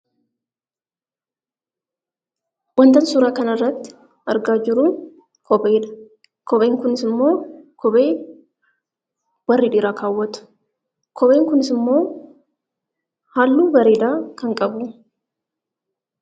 Wantan suuraa kanarratti argaa jiru kopheedha. Kopheen kunisimmoo kophee warri dhiiraa kaawwatu. Kopheen kunisimmoo halluu bareedaa kan qabudha.